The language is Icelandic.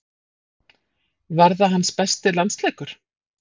Var það hans besti landsleikur?